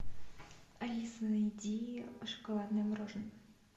алиса найди шоколадное мороженое